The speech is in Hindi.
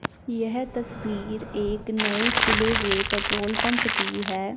यह तस्वीर एक नये खुले हुए पेट्रोल पंप की है।